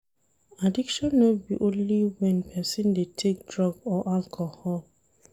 Addiction no be only when person dey take drug or alcohol